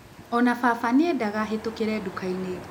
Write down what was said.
O na baba nĩ endaga hĩtũkĩrĩ nduka-inĩ.